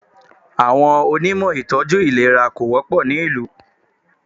Àwọn Onímọ̀ ìtọ́jú àìlera kò wọ́pọ̀ ní ìlú.